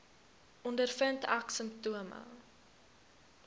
ondervind ek simptome